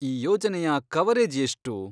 ಈ ಯೋಜನೆಯ ಕವರೇಜ್ ಎಷ್ಟು?